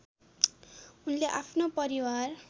उनले आफ्नो परिवार